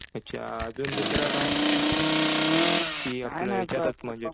अच्छा. अजून दुसरं काय? कि आपलं ह्याच्यातच म्हणजे